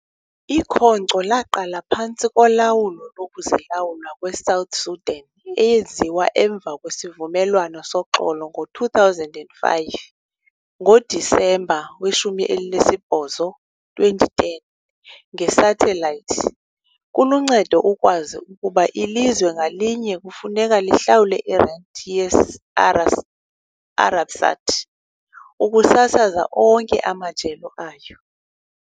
Ikhonkco laqala phantsi kolawulo lokuzilawula kweSouth Sudan, eyenziwe emva kwesivumelwano soxolo ngo-2005, ngoDisemba 18, 2010 ngesathelayithi. Kuluncedo ukwazi ukuba ilizwe ngalinye kufuneka lihlawule irenti ye-Arabsat ukusasaza onke amajelo ayo.